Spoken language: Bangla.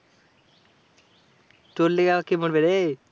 তোর লেগে আবার কে মরবে রে?